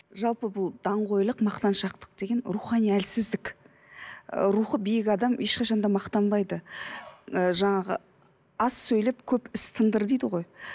жалпы бұл даңғойлық мақтаншақтық деген рухани әлсіздік ы рухы биік адам ешқашан да мақтанбайды ы жаңағы аз сөйлеп көп іс тындыр дейді ғой